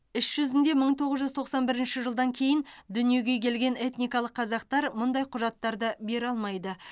іс жүзінде мың тоғыз жүз тоқсан бірінші жылдан кейін дүниеге келген этникалық қазақтар мұндай құжаттарды бере алмайды